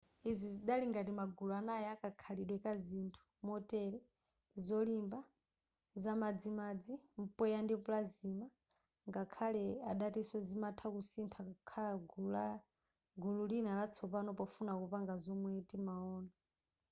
izi zidali ngati magulu anayi akakhalidwe ka zinthu motere : zolimba zamadzimadzi mpweya ndi plasma ngakhale adatinso zimatha kusintha kukhala gulu lina latsopano pofuna kupanga zomwe timaona